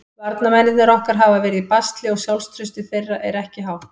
Varnarmennirnir okkar hafa verið í basli og sjálfstraustið þeirra er ekki hátt.